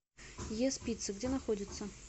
ес пицца где находится